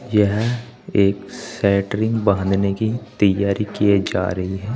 यह एक साइड्रिंग बांधने की तैयारी की जा रही है।